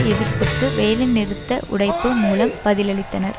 எதிர்ப்புக்கு வேலைநிறுத்த உடைப்பு மூலம் பதிலளித்தனர்